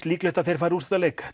líklegt að þeir fari í úrslitaleik